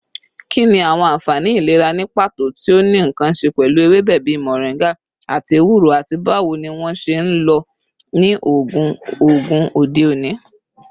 Kini awọn anfani ilera ni pato ti o ni nkan ṣe pẹlu ewebe bii moringa ati ewuro, ati bawo ni wọn ṣe nlo ni oogun oogun ode oni?